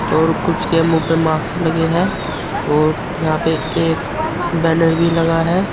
और कुछ के मुंह पे माक्स लगे हैं और यहां पे एक बैनर भी लगा है।